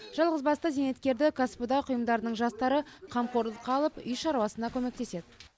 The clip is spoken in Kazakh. жалғызбасты зейнеткерді кәсіподақ ұйымдарының жастары қамқорлыққа алып үй шаруасына көмектеседі